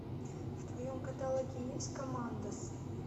в твоем каталоге есть коммандос